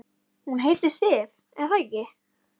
Hann leit upp undrandi og fár og svaraði ekki.